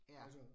Ja